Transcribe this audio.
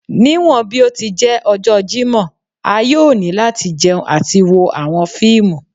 Niwọn bi o ti jẹ ọjọ Jimọ a yoo ni lati jẹun ati wo awọn fiimu